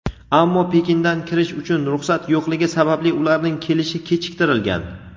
ammo Pekindan kirish uchun ruxsat yo‘qligi sababli ularning kelishi kechiktirilgan.